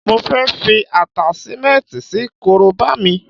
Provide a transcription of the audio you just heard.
Mo fẹ́ fi Àtáṣímẹ́ǹti sí korobá mi